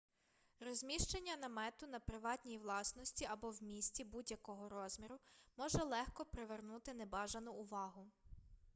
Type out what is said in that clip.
розміщення намету на приватній власності або в місті будь-якого розміру може легко привернути небажану увагу